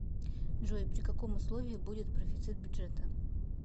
джой при каком условии будет профицит бюджета